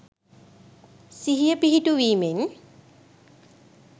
සිහිය පිහිටුවීමෙන්.